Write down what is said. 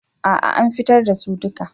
A'a an fitar da su duka.